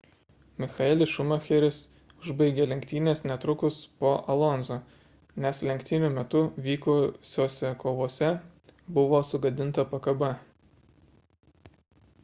michaelis schumacheris užbaigė lenktynes netrukus po alonso nes lenktynių metu vykusiose kovose buvo sugadinta pakaba